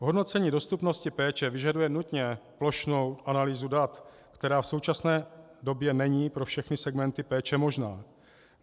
Hodnocení dostupnosti péče vyžaduje nutně plošnou analýzu dat, která v současné době není pro všechny segmenty péče možná.